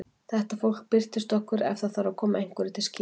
Þetta fólk birtist okkur ef það þarf að koma einhverju til skila.